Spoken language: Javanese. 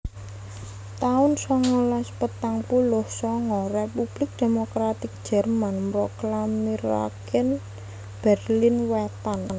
taun songolas patang puluh sanga Republik Demokratik Jerman mroklamiraken Berlin Wétan